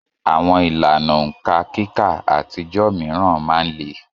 Àwọn ìlànà òǹkà kíkà àtijọ́ mìíràn máa ń le